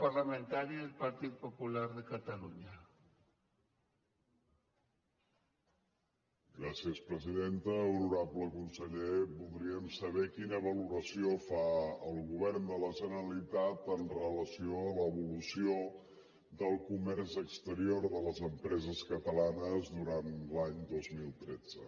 honorable conseller voldríem saber quina valoració fa el govern de la generalitat amb relació a l’evolució del comerç exterior de les empreses catalanes durant l’any dos mil tretze